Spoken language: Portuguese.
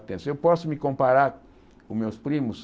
Eh se eu posso me comparar com meus primos,